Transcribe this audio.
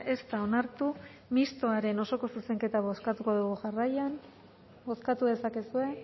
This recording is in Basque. ez da onartu mistoaren osoko zuzenketa bozkatuko dugu jarraian bozkatu dezakezue